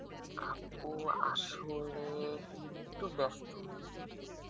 আপু আসলে একটু বেস্ত